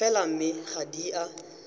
fela mme ga di a